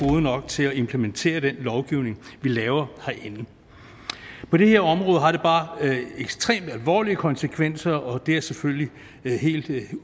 nok til at implementere den lovgivning vi laver herinde på det her område har det bare ekstremt alvorlige konsekvenser og det er selvfølgelig helt